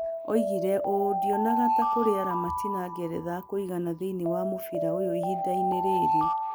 Oigire ũũ: "Ndionaga ta kũrĩ aramatina (Ngeretha) akũigana thĩinĩ wa mũbira ũyũ ihinda-inĩ rĩrĩ".